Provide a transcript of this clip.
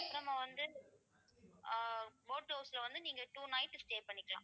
அப்புறமா நம்ம வந்து ஆஹ் boat house ல வந்து நீங்க two night stay பண்ணிக்கலாம்